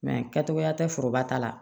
kɛcogoya tɛ foroba ta la